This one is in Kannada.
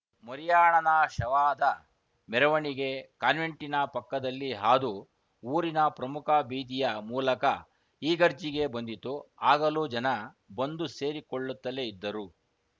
ಮರಿಯಾಣನ ಶವದ ಮೆರವಣಿಗೆ ಕಾನ್ವೆಂಟಿನ ಪಕ್ಕದಲ್ಲಿ ಹಾದು ಊರಿನ ಪ್ರಮುಖ ಬೀದಿಯ ಮೂಲಕ ಇಗರ್ಜಿಗೆ ಬಂದಿತು ಆಗಲೂ ಜನ ಬಂದು ಸೇರಿ ಕೊಳ್ಳುತ್ತಲೇ ಇದ್ದರು